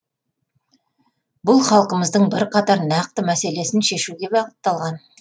бұл халқымыздың бірқатар нақты мәселесін шешуге бағытталған